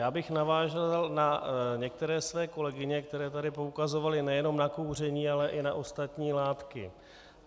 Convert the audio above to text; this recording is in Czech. Já bych navázal na některé své kolegyně, které tady poukazovaly nejenom na kouření, ale i na ostatní látky.